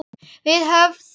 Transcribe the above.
Við höfðum